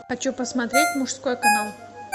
хочу посмотреть мужской канал